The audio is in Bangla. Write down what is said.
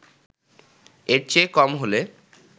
এর চেয়ে কম হলে